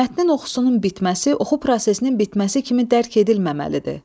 Mətnin oxusunun bitməsi, oxu prosesinin bitməsi kimi dərk edilməməlidir.